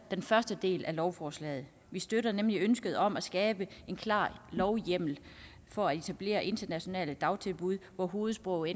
den første del af lovforslaget vi støtter nemlig ønsket om at skabe en klar lovhjemmel for at etablere internationale dagtilbud hvor hovedsproget